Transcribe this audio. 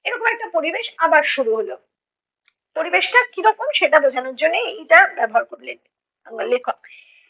এরকম একটা পরিবেশ আবার শুরু হলো। পরিবেশটা কী রকম সেটা বোঝানোর জন্যেই এইটা ব্যবহার করলেন আহ লেখক